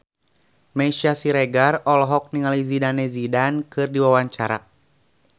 Meisya Siregar olohok ningali Zidane Zidane keur diwawancara